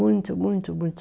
Muito, muito, muito.